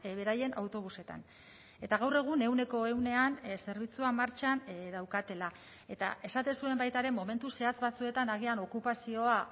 beraien autobusetan eta gaur egun ehuneko ehunean zerbitzua martxan daukatela eta esaten zuen baita ere momentu zehatz batzuetan agian okupazioa